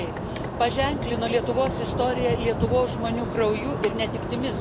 įvykiai paženklino Lietuvos istoriją Lietuvos žmonių krauju ir netektimis.